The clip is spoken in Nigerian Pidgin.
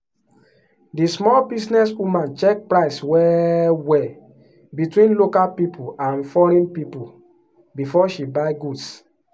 di small business woman check price well-well between local people and foreign people before she buy goods.